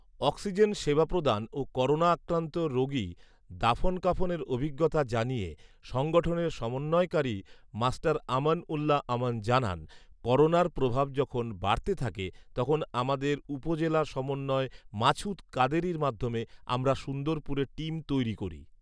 oxygen সেবা প্রদান ও করোনা আক্রান্ত রোগি দাফন কাফনের অভিজ্ঞতা জানিয়ে সংগঠনের সমন্বয়কারী মাষ্টার আমান উল্লাহ আমান জানান, করোনার প্রভাব যখন বাড়তে থাকে তখন আমাদের উপজেলা সমন্বয় মাছঊদ কাদেরীর মাধ্যমে আমরা সুন্দরপুরে টিম তৈরি করি